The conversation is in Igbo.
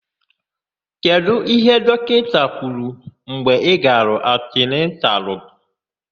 Kedụ íhé dọkịta kwuru mgbe ị gara antinantalụ?